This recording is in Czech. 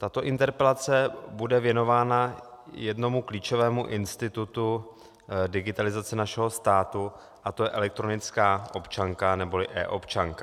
Tato interpelace bude věnována jednomu klíčovému institutu digitalizace našeho státu, a to je elektronická občanka neboli eObčanka.